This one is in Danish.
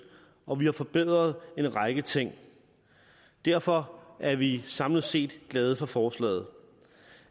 og vi har forbedret en række ting derfor er vi samlet set glade for forslaget